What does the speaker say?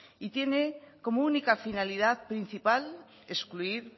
y tiene como única finalidad principal excluir